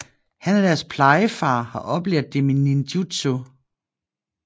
Han er deres plejefar og har oplært dem i ninjitsu